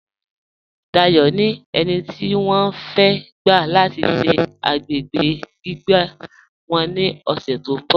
Dáyọ̀ ni ènì tí wọ́n fẹ̀ gba lati ṣẹ̀ agbègbè gbígbà wọ́n ni ọṣẹ̀ tó nbọ̀.